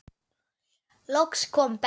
Loks kom Benni.